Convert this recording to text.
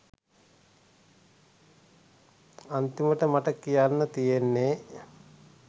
අන්තිමට මට කියන්න තියෙන්නේ